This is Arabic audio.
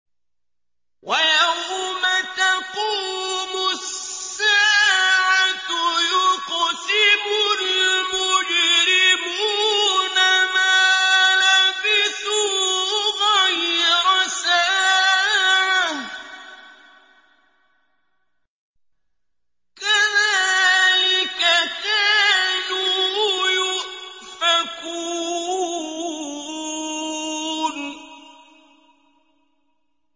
وَيَوْمَ تَقُومُ السَّاعَةُ يُقْسِمُ الْمُجْرِمُونَ مَا لَبِثُوا غَيْرَ سَاعَةٍ ۚ كَذَٰلِكَ كَانُوا يُؤْفَكُونَ